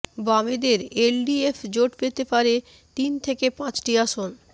বামেদের এলডিএফ জোট পেতে পারে তিন থেকে পাঁচটি আসন